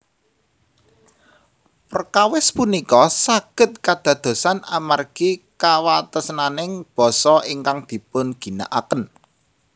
Perkawis punika saged kadadosan amargi kawatesaning basa ingkang dipun ginakaken